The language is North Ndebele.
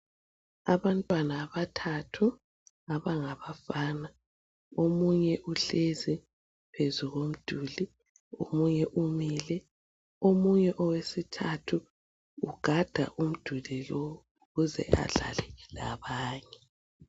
Abantwana abathathu abangabafana , omunye uhlezi phezu komduli, omunye umile, omunye owesithathu ugada umduli lowu ukuze adlale labanye.